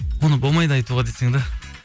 оны болмайды айтуға дейсің де